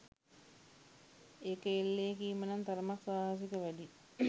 එක එල්ලේ කීම නම් තරමක් සාහසික වැඩියි